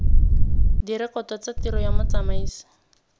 direkoto tsa tiro ya motsamaisi